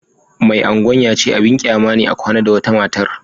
Mai Agwan ya ce abin kyama ne a kwana da wata matar